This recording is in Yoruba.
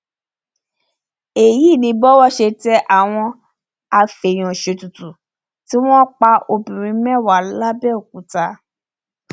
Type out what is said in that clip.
èyí ni bówó ṣe tẹ àwọn afèèyànṣètùtù tí wọn pa obìnrin mẹwàá làbẹòkúta